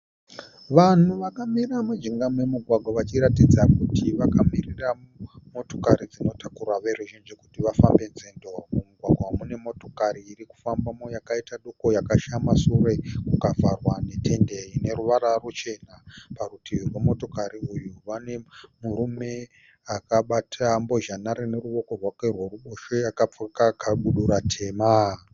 Vanhu vakamira mujinga memugwagwa vachiratidza kuti vakamirira motokari dzinotakura veruzhinji kuti vafambe nzendo. Mumugwagwa mune motokari irikufambamo yakaita doko yakashama sure kukavhagwa netende ine ruvara ruchena. Parutivi rwemotokari iyi pane murume akabata mbozhanhare neruoko rwake rweruboshwe akafuka kabudira tema.